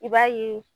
I b'a ye